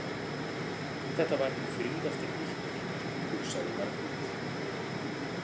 Þetta var hinn fríðasti piltur, hugsaði Margrét.